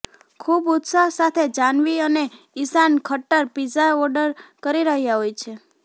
ખૂબ ઉત્સાહ સાથે જાહ્નવી અને ઇશાન ખટ્ટર પિઝા ઓર્ડર કરી રહ્યા હોય છે